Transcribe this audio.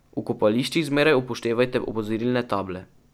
V kopališčih zmeraj upoštevajte opozorilne table.